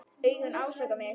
Augun ásaka mig.